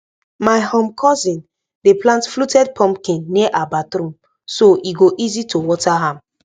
my um cousin dey plant fluted pumpkin near her bathroom so e go easy to water am